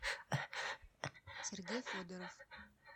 сергей федоров